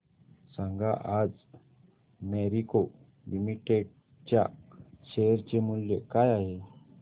सांगा आज Marico limited च्या शेअर चे मूल्य काय आहे